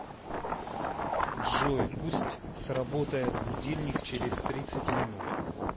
джой пусть сработает будильник через тридцать минут